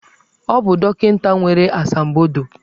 Ọ bụ dọkịta nwere asambodo.